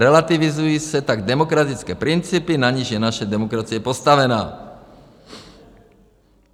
Relativizují se tak demokratické principy, na nichž je naše demokracie postavena.